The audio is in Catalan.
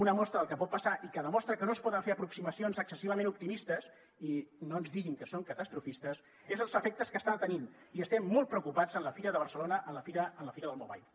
una mostra del que pot passar i que demostra que no es poden fer aproximacions excessivament optimistes i no ens diguin que som catastrofistes és els efectes que està tenint i estem molt preocupats en la fira de barcelona en la fira del mobile